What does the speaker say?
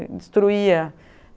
E destruía.